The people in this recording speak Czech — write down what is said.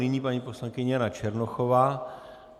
Nyní paní poslankyně Jana Černochová.